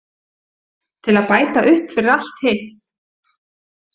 Til að bæta upp fyrir allt hitt.